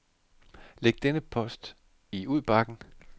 Læg denne e-post i udbakken.